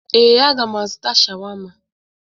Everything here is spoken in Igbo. Ee, aga m azụta sháwámá.